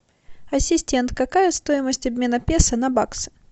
ассистент какая стоимость обмена песо на баксы